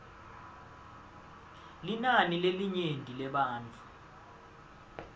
linani lelinyenti lebantfu